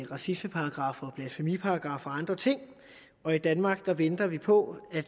racismeparagraffen blasfemiparagraffen og andre ting og i danmark venter vi på at